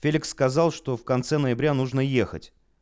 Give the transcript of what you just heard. феликс сказал что в конце ноября нужно ехать